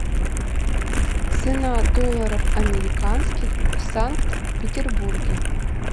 цена долларов американских в санкт петербурге